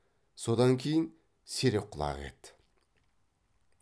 содан кейін серек құлақ еді